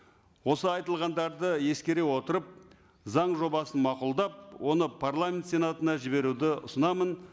осы айтылғандарды ескере отырып заң жобасын мақұлдап оны парламент сенатына жіберуді ұсынамын